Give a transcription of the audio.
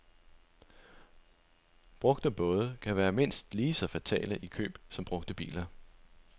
Brugte både kan være mindst lige så fatale i køb som brugte biler.